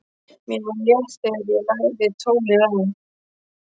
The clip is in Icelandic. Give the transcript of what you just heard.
Mér var létt þegar ég lagði tólið á.